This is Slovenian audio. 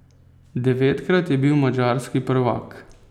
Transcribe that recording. Devetkrat je bil madžarski prvak.